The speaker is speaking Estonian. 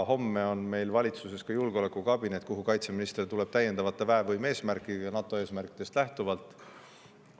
Homme on meil valitsuses julgeolekukabinet, kuhu kaitseminister tuleb täiendavate väevõime eesmärkidega NATO eesmärkidest lähtuvalt.